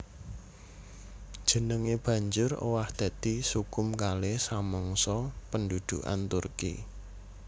Jenengé banjur owah dadi Sukhum Kale samangsa pendhudhukan Turki